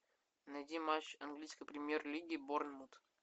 найди матч английской премьер лиги борнмут